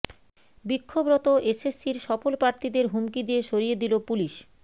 বিক্ষোভরত এসএসএসির সফল প্রার্থীদের হুমকি দিয়ে সরিয়ে দিল পুলিস